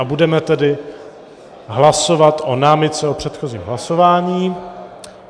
A budeme tedy hlasovat o námitce o předchozím hlasování.